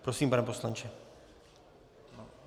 Prosím, pane poslanče.